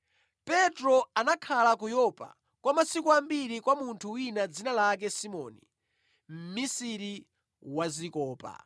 Petro anakhala ku Yopa kwa masiku ambiri kwa munthu wina, dzina lake Simoni, mmisiri wa zikopa.